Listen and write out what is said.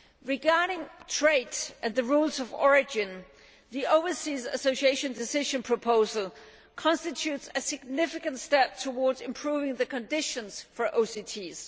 Regarding trade and the rules of origin, the Overseas Association Decision proposal constitutes a significant step towards improving the conditions for OCTs.